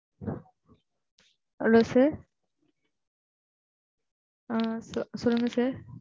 Hello sir ஆ சொல்லுங்க sir